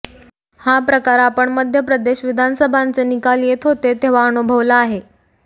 हा प्रकार आपण मध्य प्रदेश विधानसभांचे निकाल येत होते तेव्हा अनुभवला आहे